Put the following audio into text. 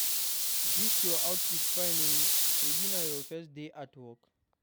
Dis your outfit fine oo, shebi na your first day for work?